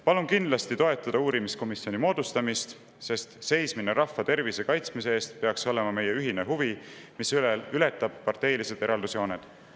Palun kindlasti toetada uurimiskomisjoni moodustamist, sest seismine rahva tervise kaitsmise eest peaks olema meie ühine huvi, mis ületab parteilised eraldusjooned.